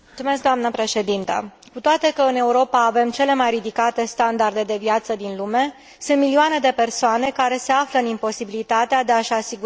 Cu toate că în Europa avem cele mai ridicate standarde de viață din lume, sunt milioane de persoane care se află în imposibilitatea de a și asigura necesarul de hrană.